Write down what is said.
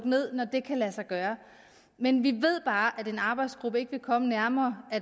ned når det kan lade sig gøre men vi ved bare at en arbejdsgruppe ikke vil komme nærmere